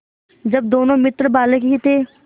जब दोनों मित्र बालक ही थे